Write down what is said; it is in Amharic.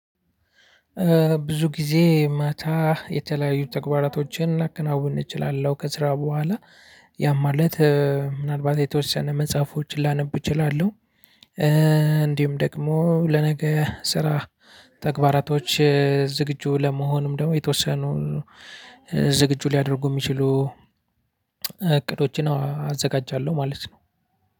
ብዙ ጊዜ ማታ የተለያዩ ተግባራቶችን ላከናውን እችላለሁ ከስራ በኋላ ያ ማለት ምናልባት የተወሰነ መጽሐፎችን ላነብ እችላለሁ። እንዲሁም ደግሞ ለነገ ስራ ተግባራቶች ዝግጁ ለመሆንም ደግሞ የተወሰኑ ዝግጁ ሊያደርጉ ሚችሉ እቅዶችን አ አዘጋጃለሁ። ማለት ነው።